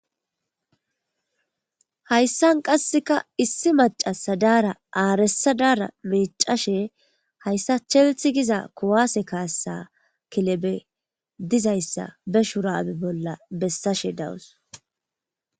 Hayssan qasseka issi macasa daara aaresadaara micashe hayssa chelthi giza kuwaase kaassa kilebe dizayssa be shurabe bolla bessashe dawus